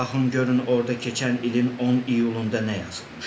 Baxın görün orda keçən ilin 10 iyulunda nə yazılmışdı.